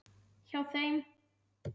Hjá þeim.